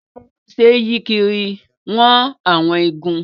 Abẹ tó ṣe é yí kiri ń wọn àwọn igun